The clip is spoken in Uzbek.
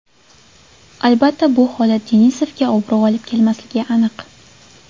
Albatta bu holat Denisovga obro‘ olib kelmasligi aniq.